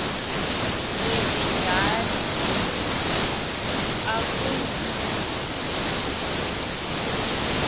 wenje njalo akuyi